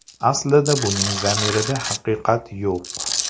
Aslida buning zamirida haqiqat yo‘q.